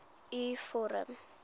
u vorm